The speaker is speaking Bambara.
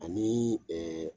Anii ɛɛ